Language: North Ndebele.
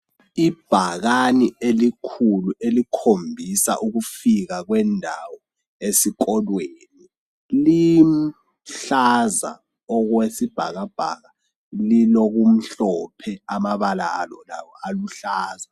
Ibhakani elikhulu elikhombisa ukufika kwendawo esikolweni liluhlaza okwesibhakabhaka lilokumhlophe amabala alo lawo aluhlaza.